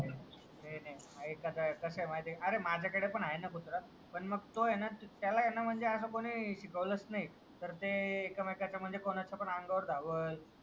नाही नाही काही कसा आहे अरे माझा कडे पण आहे ना कुत्रा पण मग तो आहे ना म्हणजे त्याला म्हणजे ना असं कोणी शिकवालच नाही तर ते एकमेकांचा म्हणजे कोणाच्या पण अंगावर धावल